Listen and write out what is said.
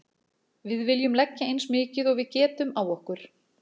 Við viljum leggja eins mikið og við getum á okkur.